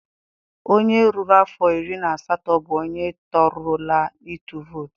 Onye ruru afọ iri na asatọ bụ onye torurula ịtụ vootu.